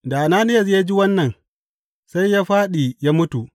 Da Ananiyas ya ji wannan, sai ya fāɗi ya mutu.